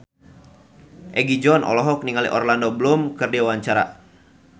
Egi John olohok ningali Orlando Bloom keur diwawancara